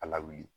A lawuli